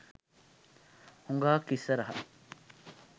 හුගාක් ඉස්සරහා.